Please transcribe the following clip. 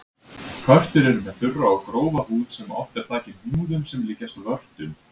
Körtur eru með þurra og grófa húð sem oft er þakin hnúðum sem líkjast vörtum.